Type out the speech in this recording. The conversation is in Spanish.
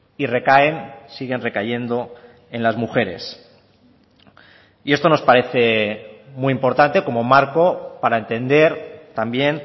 y recaen siguen recayendo en las mujeres y esto nos parece muy importante como marco para entender también